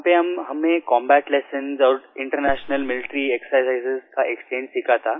यहाँ पर हमें कम्बैट लेसन्स और इंटरनेशनल मिलिटरी एक्सरसाइज का एक एक्सचेंज सीखा था